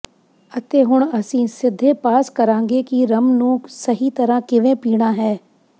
ਅਤੇ ਹੁਣ ਅਸੀਂ ਸਿੱਧੇ ਪਾਸ ਕਰਾਂਗੇ ਕਿ ਰੱਮ ਨੂੰ ਸਹੀ ਤਰ੍ਹਾਂ ਕਿਵੇਂ ਪੀਣਾ ਹੈ